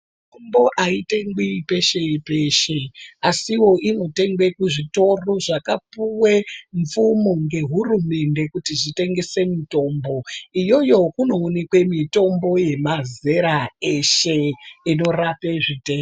Mitombo aitengwi peshe-peshe asiwo inotengwe kuzvitoro zvakapuwe mvumo ngehurumende kuti zvitengese mitombo. Iyoyo kunoonekwe mitombo yemazera eshe inorape zvitenda...